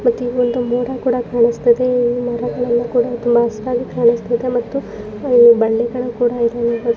ಮತ್ ಈವೊಂದು ಮೋಡ ಕೂಡ ಕಾಣುಸ್ಥದೆ ಈ ಮೋಡಗಳೆಲ್ಲ ಕೂಡ ತುಂಬಾ ಹಸುರಾಗಿ ಕಾಣುಸ್ತಿದೆ ಮತ್ತು ಅಲ್ಲಿ ಬಳ್ಳಿಗಳು ಕೂಡ ಇದೆ ಅನ್ಬೋದು.